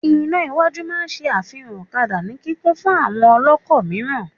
Iná iwájú máa n ṣe àfihàn ọ̀kadà ní kíkún fún àwọn ọlọ́kọ̀ mìíràn